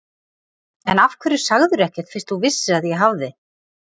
En af hverju sagðirðu ekkert fyrst þú vissir að ég hafði.